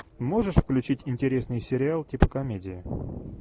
можешь включить интересный сериал типа комедия